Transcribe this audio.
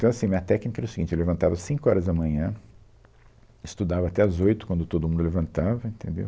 Então, assim, a minha técnica era o seguinte, eu levantava às cinco horas da manhã, estudava até às oito, quando todo mundo levantava, entendeu?